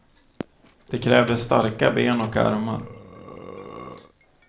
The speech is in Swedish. Det krävdes starka ben och armar.